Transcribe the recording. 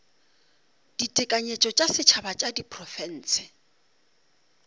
ditekanyetšo tša setšhaba tša diprofense